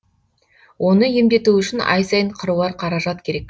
оны емдету үшін ай сайын қыруар қаражат керек